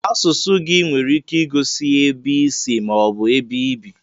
Asụsụ gị nwere ike igosi ebe isi ma ọ bụ ebe ibi.